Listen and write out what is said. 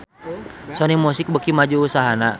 Sony Music beuki maju usahana